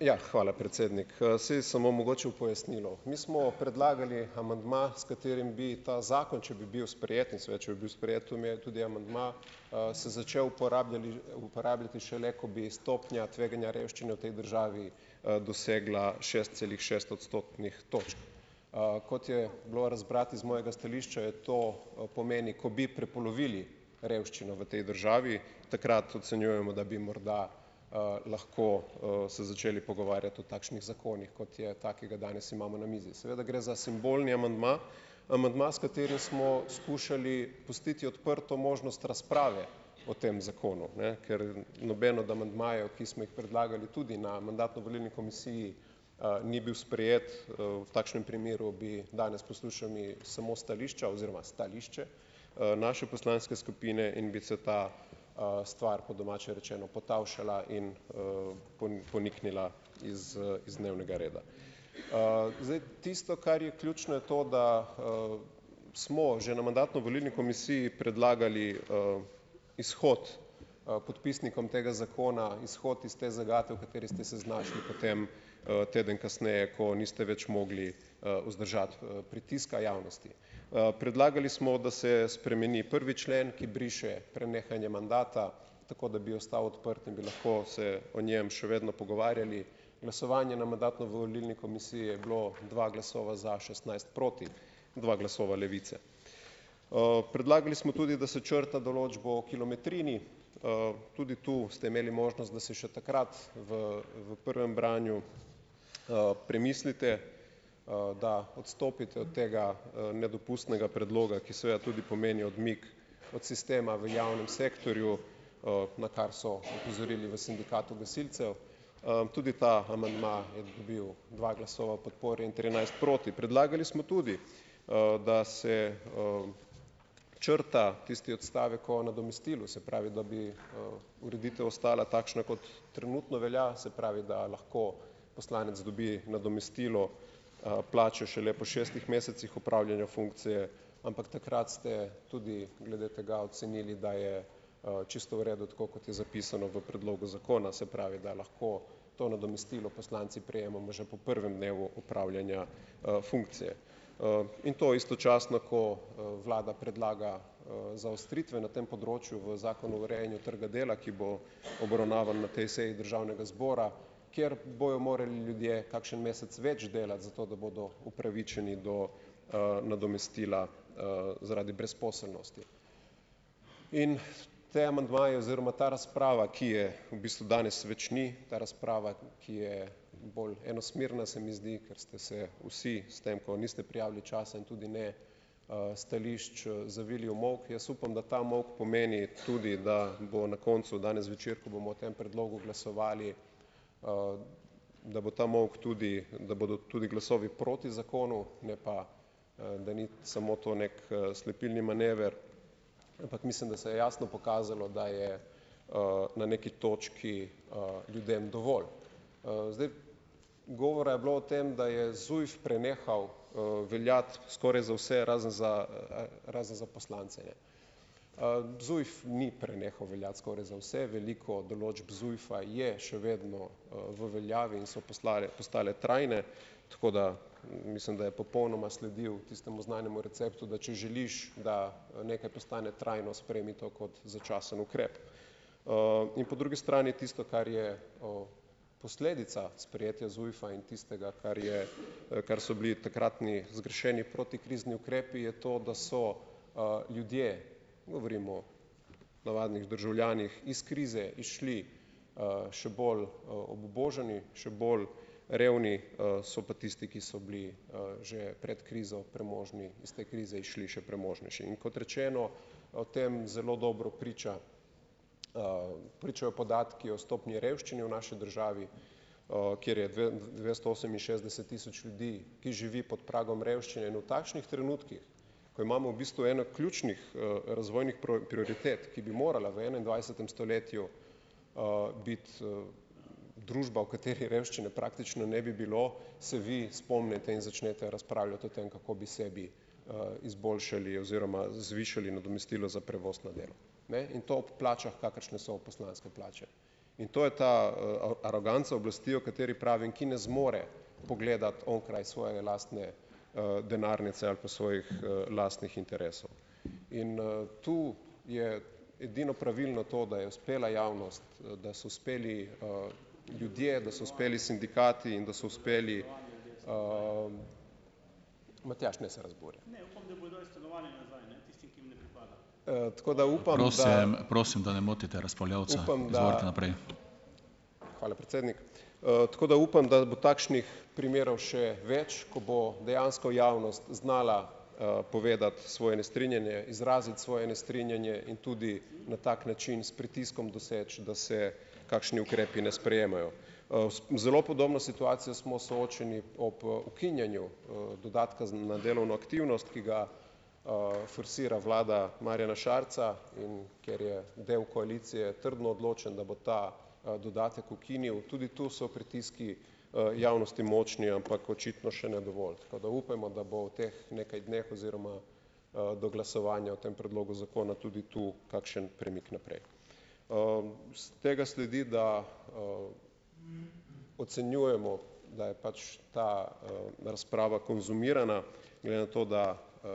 Ja, hvala predsednik, saj samo mogoče v pojasnilo, mi smo predlagali amandma, s katerim bi ta zakon, če bi bil sprejet, in seveda če bi bil sprejet tudi amandma, se začel uporabljali, uporabljati šele, ko bi stopnja tveganja revščine v tej državi, dosegla šest celih šest odstotnih točk, kot je bilo razbrati iz mojega stališča, je to, pomeni, ko bi prepolovili revščino v tej državi, takrat ocenjujemo, da bi morda, lahko, se začeli pogovarjati o takšnih zakonih, kot je ta, ki ga danes imamo na mizi, seveda gre za simbolni amandma, amandma, s katerim smo skušali pustiti odprto možnost razprave, o tem zakonu, ne, ker noben od amandmajev, ki smo jih predlagali tudi na mandatno volilni komisiji, ni bil sprejet, v takšnem primeru bi danes poslušali samo stališča oziroma stališče, naše poslanske skupine in bi se ta, stvar po domače rečeno potavšala in, poniknila iz, iz dnevnega reda, zdaj tisto, kar je ključno, je to da, smo že na mandatno-volilni komisiji predlagali, izhod podpisnikom tega zakona, izhod iz te zagate, v kateri ste se znašli potem, teden kasneje, ko niste več mogli, vzdržati, pritiska javnosti, predlagali smo, da se spremeni prvi člen, ki briše prenehanje mandata, tako da bi ostal odprt in bi lahko se o njem še vedno pogovarjali, glasovanje na mandatno-volilni komisiji je bilo dva glasova za, šestnajst proti, dva glasova Levice, predlagali smo tudi, da se črta določbo o kilometrini, tudi tu ste imeli možnost, da se še takrat v v prvem branju, premislite, da odstopite od tega, nedopustnega predloga, ki seveda tudi pomeni odmik od sistema v javnem sektorju, na kar so opozorili v sindikatu gasilcev, tudi ta amandma je dobil dva glasova podpore in trinajst proti, predlagali smo tudi, da se, črta tisti odstavek o nadomestilu, se pravi, da bi, ureditev ostala takšna, kot trenutno velja, se pravi, da lahko poslanec dobi nadomestilo, plače šele po šestih mesecih opravljanja funkcije, ampak takrat ste tudi glede tega ocenili, da je, čisto v redu tako, kot je zapisano v predlogu zakona, se pravi, da lahko to nadomestilo poslanci prejemamo že po prvem dnevu opravljanja, funkcije, in to istočasno, ko, vlada predlaga, zaostritve na tem področju v zakonu urejanja trga dela, ki bo obravnavan na tej seji državnega zbora, kjer bodo morali ljudje kakšen mesec več delati, zato da bodo upravičeni do, nadomestila, zaradi brezposelnosti in ti amandmaji oziroma ta razprava, ki je v bistvu danes več ni, ta razprava, ki je bolj enosmerna, se mi zdi, ker ste se vsi s tem, ko niste prijavili časa, in tudi ne, stališč, zavili v molk, jaz upam, da ta molk pomenim tudi da bo na koncu danes zvečer, ko bomo o tem predlogu glasovali, da bo ta molk, tudi da bodo tudi glasovi proti zakonu, ne pa, da ni samo to neki, slepilni manever, ampak mislim, da se je jasno pokazalo, da je, na neki točki, ljudem dovolj, zdaj govora je bilo o tem, da je ZUJF prenehal, veljati skoraj za vse razen za, razen za poslance, ZUJF ni prenehal veljati, skoraj za vse, veliko določb ZUJF-a je še vedno v veljavi in so poslali, postale trajne, tako da mislim, da je popolnoma sledil tistemu znanemu receptu, da če želiš, da nekaj postane trajno, sprejmi to kot začasen ukrep, in po drugi strani tisto, kar je, posledica sprejetja ZUJF-a, in tistega, kar je kar so bili takratni zgrešeni protikrizni ukrepi, je to, da so, ljudje, govorimo navadnih državljanih, iz krize prišli, še bolj obubožani, še bolj revni, so pa tisti, ki so bili, že pred krizo premožni, iz te krize šli še premožnejši, in kot rečeno, o tem zelo dobro priča, pričajo podatki o stopnji revščine v naši državi, kjer je dvesto oseminšestdeset tisoč ljudi, ki živi pod pragom revščine in v takšnih trenutkih, ko imamo v bistvu eno ključnih, razvojnih prioritet, ki bi morala v enaindvajsetem stoletju, biti, družba, v kateri revščine praktično ne bi bilo, se vi spomnite in začnete razpravljati o tem, kako bi sebi, izboljšali oziroma zvišali nadomestilo za prevoz na delo, ne, in to ob plačah, kakršne so poslanske plače, in to je ta, aroganca oblasti, o kateri pravim, ki ne zmore pogledati onkraj svoje lastne, denarnice ali pa svojih, lastnih interesov in, tu je edino pravilno to, da je uspela javnost, da so uspeli, ljudje, da so uspeli sindikat in da so uspeli, Matjaž ne se razburjati. Hvala, predsednik. tako da upam, da bo takšnih primerov še več, ko bo dejansko javnost znala, povedati svoje nestrinjanje, izraziti svoje nestrinjanje in tudi na tak način s pritiskom doseči, da se kakšni ukrepi ne sprejemajo, zelo podobno situacijo smo soočeni ob ukinjanju dodatka za na delovno aktivnost, ki ga, forsira vlada Marjana Šarca, in ker je del koalicije trdno odločen, da bo ta, dodatek ukinil, tudi tu so pritiski, javnosti močni, ampak očitno še ne dovolj, pa da upajmo, da bo v teh nekaj dneh oziroma, do glasovanja v tem predlogu zakona tudi tu kakšen premik naprej, iz tega sledi, da, ocenjujemo, da je pač ta, razprava konzumirana, glede na to, da,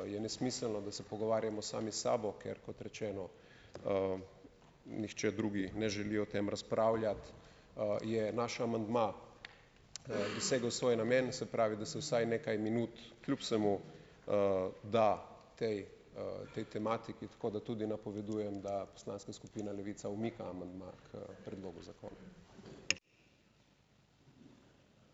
je nesmiselno, da se pogovarjamo sami sabo, ker kot rečeno, nihče drug ne želi o tem razpravljati, je naš amandma dosegel svoj namen, se pravi, da se vsaj nekaj minut kljub vsemu, da tej, tej tematiki, tako da tudi napovedujem, da poslanska skupina Levica umika amandma k predlogu zakona.